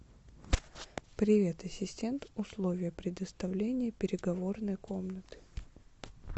привет ассистент условия предоставления переговорной комнаты